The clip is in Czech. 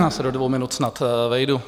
Já se do dvou minut snad vejdu.